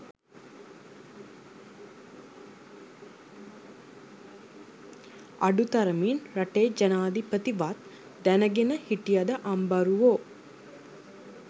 අඩු තරමින් රටේ ජනාදිපති වත් දැනගෙන හිටියද අම්බරුවෝ?